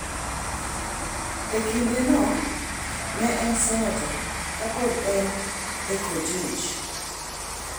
E kindeno, ne en senata ka pod en e kolej.